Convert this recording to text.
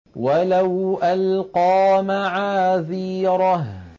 وَلَوْ أَلْقَىٰ مَعَاذِيرَهُ